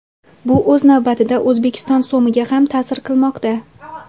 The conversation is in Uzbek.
Bu o‘z navbatida O‘zbekiston so‘miga ham ta’sir qilmoqda.